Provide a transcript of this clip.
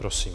Prosím.